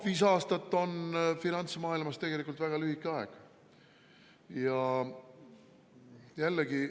Viis aastat on finantsmaailmas tegelikult väga lühike aeg.